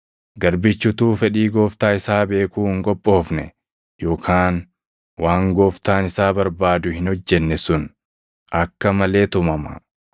“Garbichi utuu fedhii gooftaa isaa beekuu hin qophoofne yookaan waan gooftaan isaa barbaadu hin hojjenne sun akka malee tumama.